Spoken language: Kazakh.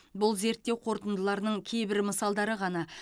бұл зерттеу қорытындыларының кейбір мысалдары ғана